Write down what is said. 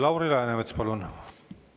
Lauri Läänemets, palun!